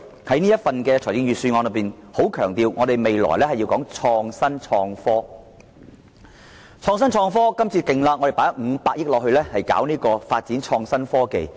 這份預算案強調本港將來要創新、創科，更大力投放500億元發展創新科技。